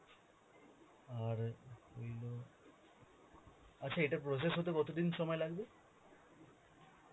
আর হইল, আচ্ছা এটা process হতে কতদিন সময় লাগবে?